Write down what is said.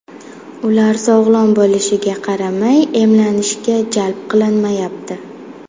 Ular sog‘lom bo‘lishiga qaramay, emlanishga jalb qilinmayapti.